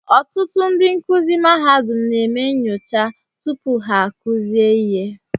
Ọtụtụ ndị nkuzi mahadum na-eme nyocha tupu ha-akụzie ihe